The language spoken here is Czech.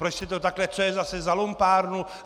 Proč jste to takhle - co je zase za lumpárnu?